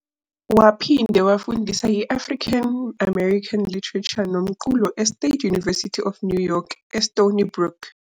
Waphinde wafundisa i-African-American literature nomculo e-State University of New York e-Stony Brook.